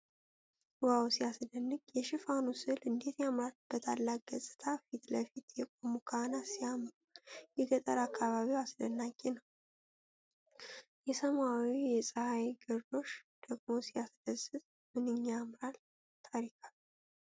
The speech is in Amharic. ዋው! ሲያስደንቅ! የሽፋኑ ስዕል እንዴት ያምራል! በታላቅ ገጽታ ፊት ለፊት የቆሙ ካህናት ሲያምሩ! የገጠር አካባቢው አስደናቂ ነው። የሰማይና የፀሐይ ግርዶሽ ደግሞ ሲያስደስት! ምንኛ ያምራል! ታሪካዊ!